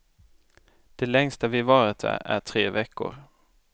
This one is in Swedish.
Det längsta vi varit där är tre veckor.